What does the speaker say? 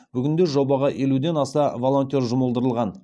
бүгінде жобаға елуден аса волонтер жұмылдырған